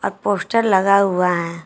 अ poster लगा हुआ है।